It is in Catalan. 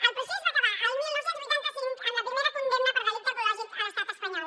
el procés va acabar el dinou vuitanta cinc amb la primera condemna per delicte ecològic a l’estat espanyol